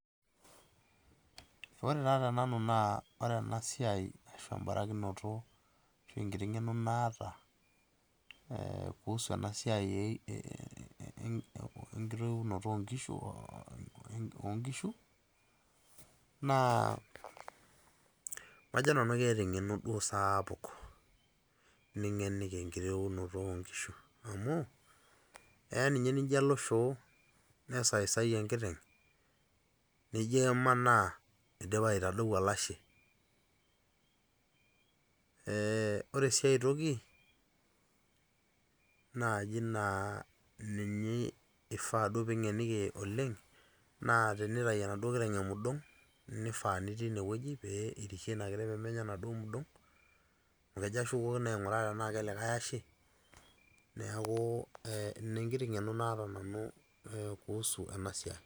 Ore taa te nanu naa ore enaa siai ashu embarakinot ashu enkiti ng'eno naata kuhusu enaa siaai enkitoyiunoto oonkishu o nkishu naa majo nanu keeta eng'eno duo saapuk ning'eniki enkitoyiunoto oo nkishu, amu eya ninye nijo ilo shoo, nesaisayia enkiteng' nijo imana eidipa aitadou olashe. Ore sii ai toki naaji naa eifaa naaji ning'eniki oleng' naa teneitayu enaduo kiteng' emudong' nifaa nitii ine wueji pee irishie enaduo kiteng' pee menya enaduo emudong', amu kejo ashukokino ainguraa tenaa ke likae ashe, neaku ina enkiti ng'eno naata nanu kuhusu ena siai.